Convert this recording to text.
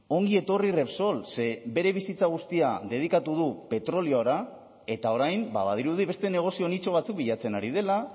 ongi etorri repsol ze bere bizitza guztia dedikatu du petroliora eta orain badirudi beste negozio nitxo batzuk bilatzen ari dela